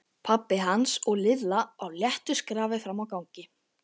Pabbi hans og Lilla á léttu skrafi frammi á gangi.